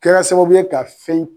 Kɛra sababu ye ka fɛn